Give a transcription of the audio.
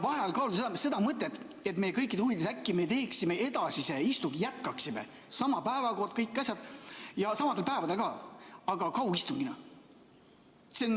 ... vaheajal kaaluksite seda mõtet, et meie kõikide huvides äkki me teeksime edasise istungi – sama päevakord, kõik asjad ja samadel päevadel ka –, aga kaugistungina.